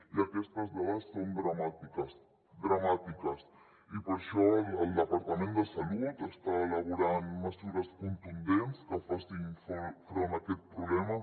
i aquestes dades són dramàtiques dramàtiques i per això el departament de salut està elaborant mesures contundents que facin front a aquest problema